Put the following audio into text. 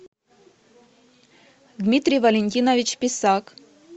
дмитрий валентинович писак